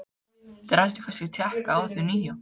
Þeir ættu kannski að tékka á því nýja.